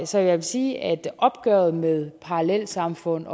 så jeg vil sige at opgøret med parallelsamfund